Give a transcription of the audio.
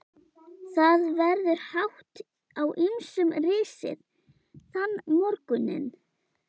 Það verður hátt á ýmsum risið þann morguninn.